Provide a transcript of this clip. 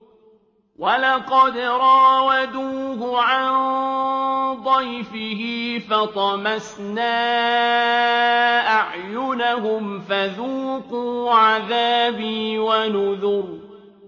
وَلَقَدْ رَاوَدُوهُ عَن ضَيْفِهِ فَطَمَسْنَا أَعْيُنَهُمْ فَذُوقُوا عَذَابِي وَنُذُرِ